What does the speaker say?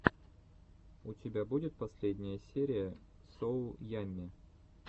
у тебя будет последняя серия соу ямми